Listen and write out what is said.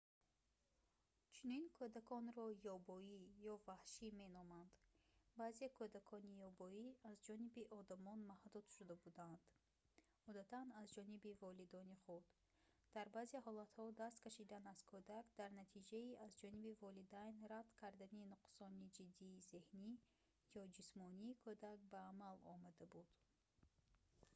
чунин кӯдаконро «ёбоӣ» ё ваҳшӣ меноманд. баъзе кӯдакони ёбоӣ аз ҷониби одамон маҳдуд шуда буданд одатан аз ҷониби волидони худ; дар баъзе ҳолатҳо даст кашидан аз кӯдак дар натиҷаи аз ҷониби волидайн рад кардани нуқсони ҷиддии зеҳнӣ ё ҷисмонии кӯдак ба амал омада буд